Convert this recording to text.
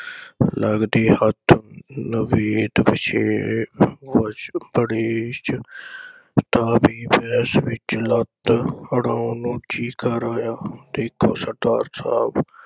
ਲੱਗਦੇ ਹੱਥ ਨਵੇ ਪਿਛੇ ਕੁਛ ਅੜੇਸ ਤਾਂ ਵੀ ਵਿਚ ਲੱਤ ਅੜਾਉਣ ਨੂੰ ਜੀ ਕਰ ਆਇਆ। ਦੇਖੋ ਸਰਦਾਰ ਸਾਹਿਬ